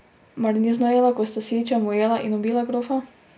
Mar ni znorela, ko sta s Sičem ujela in ubila gofa?